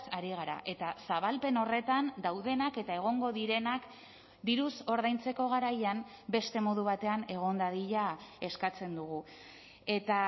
ari gara eta zabalpen horretan daudenak eta egongo direnak diruz ordaintzeko garaian beste modu batean egon dadila eskatzen dugu eta